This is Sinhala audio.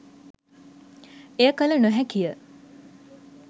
එය කළ නොහැකි ය.